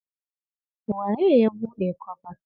Waye ya buɗe kwabar?